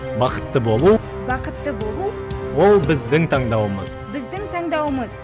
бақытты болу бақытты болу ол біздің таңдауымыз біздің таңдауымыз